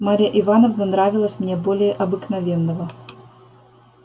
марья ивановна нравилась мне более обыкновенного